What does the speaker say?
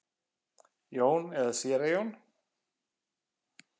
Jón eða séra Jón?